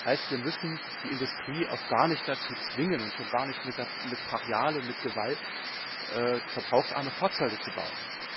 Das heißt, wir müssen die Industrie auch gar nicht dazu zwingen und schon gar nicht brachial und mit Gewalt verbrauchsarme Fahrzeuge zu bauen.